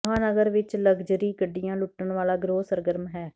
ਮਹਾਂਨਗਰ ਵਿਚ ਲਗਜਰੀ ਗੱਡੀਆਂ ਲੁੱਟਣ ਵਾਲਾ ਗਿਰੋਹ ਸਰਗਰਮ ਹੈ